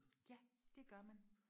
ja det gør man